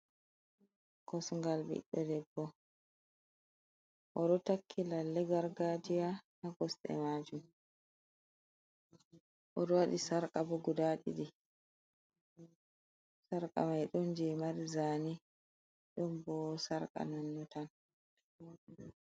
Kosngal Ɓiɗɗo debbo oɗon takki lalle gargajiya, Ha kosɗe majum, oɗon waɗi sarqa boh guda ɗiɗi, sarqa mai ɗon jei mari jane, ɗon boh sarqa nonnontan.